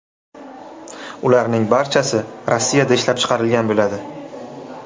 Ularning barchasi Rossiyada ishlab chiqarilgan bo‘ladi.